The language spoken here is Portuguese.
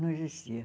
Não existia.